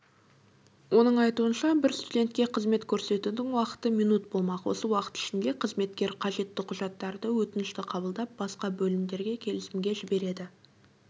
оның айтуынша бір студентке қызмет көрсетудің уақыты минут болмақ осы уақыт ішінде қызметкер қажетті құжаттарды өтінішті қабылдап басқа бөлімдерге келісімге жібереді